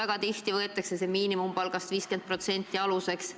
Ka kohtus võetakse väga tihti aluseks 50% miinimumpalgast.